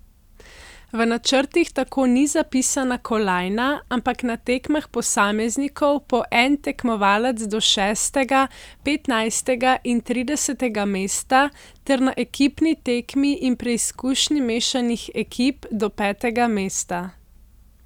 V načrtih tako ni zapisana kolajna, ampak na tekmah posameznikov po en tekmovalec do šestega, petnajstega in tridesetega mesta ter na ekipni tekmi in preizkušnji mešanih ekip do petega mesta.